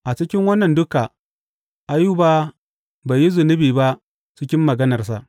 A cikin wannan duka Ayuba bai yi zunubi ba cikin maganarsa.